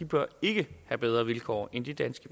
bør ikke have bedre vilkår end de danske